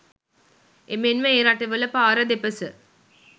එමෙන්ම ඒ රටවල පාර දෙපස